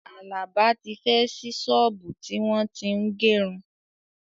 Àlàbá tí fẹ́ ṣí ṣọ́ọ̀bú tí wọ́n tín gẹrun